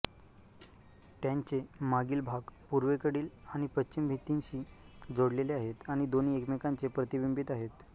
त्यांचे मागील भाग पूर्वेकडील आणि पश्चिम भिंतींशी जोडलेले आहेत आणि दोन्ही एकमेकांचे प्रतिबिंबित आहेत